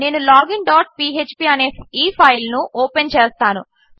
నేను login dot PHP అనేఈఫైల్నుఓపెన్చేస్తాను